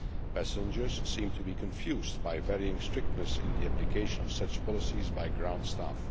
Passengers seem to be confused by varying strictness in the application of such policies by ground staff.